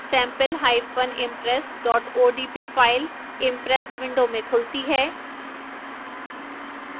sampleimpress odp file impress window में खुलती है